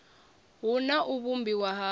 hu na u vhumbiwa ha